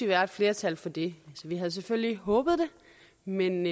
være et flertal for det vi havde selvfølgelig håbet det men